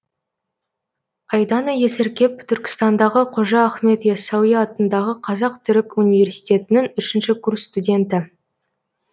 айдана есіркеп түркістандағы қожа ахмет ясауи атындағы қазақ түрік университетінің үшінші курс студенті